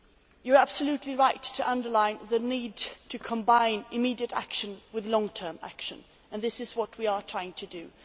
You are absolutely right to underline the need to combine immediate action with long term action, and this is what we are trying to do.